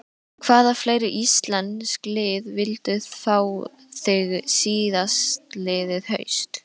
Hvaða fleiri íslensk lið vildu fá þig síðastliðið haust?